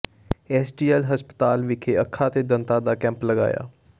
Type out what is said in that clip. SGL ਹਸਪਤਾਲ ਵਿਖੇ ਅੱਖਾਂ ਤੇ ਦੰਦਾਂ ਦਾ ਕੈਂਪ ਲਗਾਇਆ